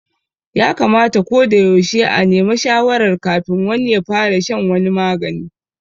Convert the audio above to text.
Ya kamata ko da yaushe a neme shawarar kafin wani ya fara shan wani magani